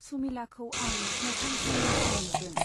सुमिलाखौ आं मोखां सोम सोम नुदों।